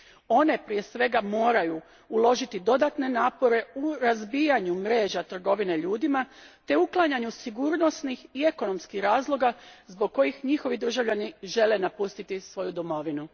One prije svega moraju uložiti dodatne napore u razbijanju mreža trgovine ljudima te uklanjanju sigurnosnih i ekonomskih razloga zbog kojih njihovi državljani žele napustiti svoju domovinu.